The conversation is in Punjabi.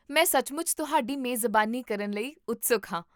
ਮੈਂ ਸੱਚਮੁੱਚ ਤੁਹਾਡੀ ਮੇਜ਼ਬਾਨੀ ਕਰਨ ਲਈ ਉਤਸੁਕ ਹਾਂ